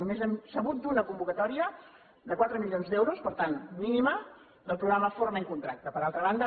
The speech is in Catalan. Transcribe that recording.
només hem sabut d’una convocatòria de quatre milions d’euros per tant mínima del programa forma i contracta per altra banda